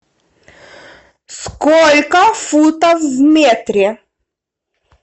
сколько футов в метре